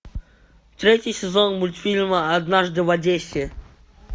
третий сезон мультфильма однажды в одессе